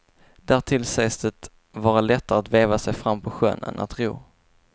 Därtill sägs det vara lättare att veva sig fram på sjön än att ro.